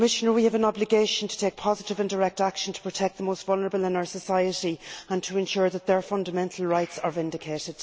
We have an obligation to take positive and direct action to protect the most vulnerable in our society and to ensure that their fundamental rights are vindicated.